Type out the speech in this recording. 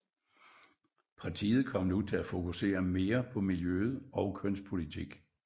Partiet kom nu til at fokusere mere på miljøet og kønspolitik